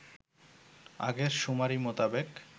আগের শুমারি মোতাবেক